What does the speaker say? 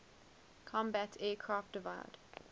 combat aircraft divide